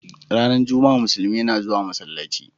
Ranar Juma'a Muslumi na zuwa masallaci.